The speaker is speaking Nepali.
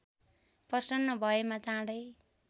प्रसन्न भएमा चाँडै